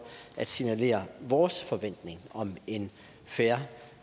at signalere vores forventning om en fair